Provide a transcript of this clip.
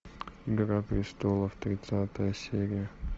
игра престолов тридцатая серия